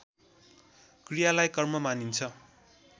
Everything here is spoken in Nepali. क्रियालाई कर्म मानिन्छ